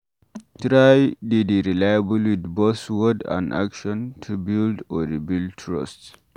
Try de dey reliable with both word and action to build or rebuild trust